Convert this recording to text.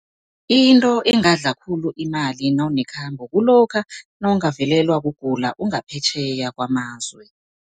Into engadla khulu imali nawunekhambo, kulokha nawungavelelwa kugula ungaphetjheya kwamazwe.